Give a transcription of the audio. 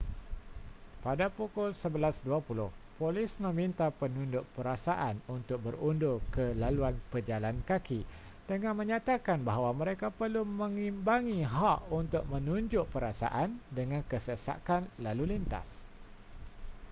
pada pukul 11:20 polis meminta penunjuk perasaan untuk berundur ke laluan pejalan kaki dengan menyatakan bahawa mereka perlu mengimbangi hak untuk menunjuk perasaan dengan kesesakan lalu lintas